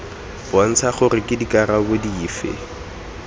bontsha gore ke dikarolo dife